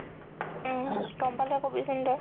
উম গ'ম পালে কবিচোন তই